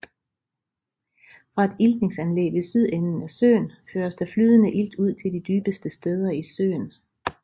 Fra et iltningsanlæg ved sydenden af søen føres der flydende ilt ud til de dybeste steder i søen